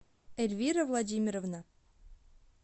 эльвира владимировна